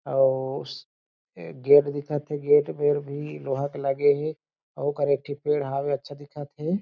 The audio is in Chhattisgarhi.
अउ स ए गेट दिखत हे गेट मेर भी लोहा के लगे हें अउ पेड़ हावे अच्छा दिखत हे ।